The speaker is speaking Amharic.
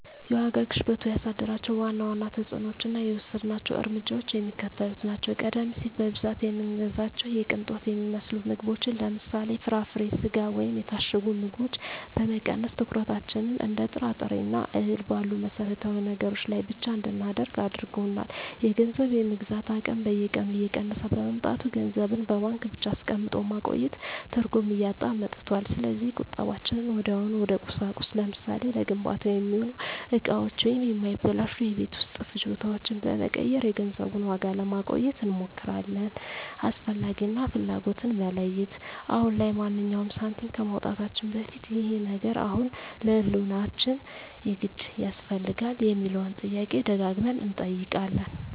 የዋጋ ግሽበቱ ያሳደራቸው ዋና ዋና ተፅዕኖዎችና የወሰድናቸው እርምጃዎች የሚከተሉት ናቸው፦ ቀደም ሲል በብዛት የምንገዛቸውን የቅንጦት የሚመስሉ ምግቦችን (ለምሳሌ፦ ፍራፍሬ፣ ስጋ ወይም የታሸጉ ምግቦች) በመቀነስ፣ ትኩረታችንን እንደ ጥራጥሬና እህል ባሉ መሠረታዊ ነገሮች ላይ ብቻ እንድናደርግ አድርጎናል። የገንዘብ የመግዛት አቅም በየቀኑ እየቀነሰ በመምጣቱ፣ ገንዘብን በባንክ ብቻ አስቀምጦ ማቆየት ትርጉም እያጣ መጥቷል። ስለዚህ ቁጠባችንን ወዲያውኑ ወደ ቁሳቁስ (ለምሳሌ፦ ለግንባታ የሚሆኑ እቃዎች ወይም የማይበላሹ የቤት ውስጥ ፍጆታዎች) በመቀየር የገንዘቡን ዋጋ ለማቆየት እንሞክራለን። "አስፈላጊ" እና "ፍላጎት"ን መለየት፦ አሁን ላይ ማንኛውንም ሳንቲም ከማውጣታችን በፊት "ይህ ነገር አሁን ለህልውናችን የግድ ያስፈልጋል?" የሚለውን ጥያቄ ደጋግመን እንጠይቃለን።